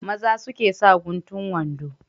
Maza suke sa guntun wando.